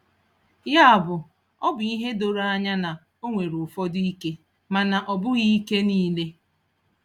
Ya bụ, ọ bụ ihe doro anya na o nwere ụfọdụ ike, mana ọ bụghị ike niile.